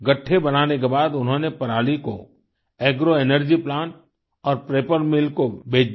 गठठे बनाने के बाद उन्होंने पराली को एग्रो एनर्जी प्लांट और पेपर मिल को बेच दिया